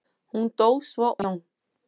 Hún dó svo úr harmi og hugarangri, segir Jón.